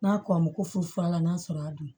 N'a kɔ ko furu furanna sɔrɔ a don